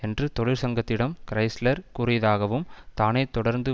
என்று தொழிற்சங்கத்திடம் கிறைஸ்லர் கூறியதாகவும் தானே தொடர்ந்து